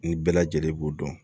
Ni bɛɛ lajɛlen b'u dɔn